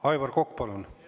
Aivar Kokk, palun!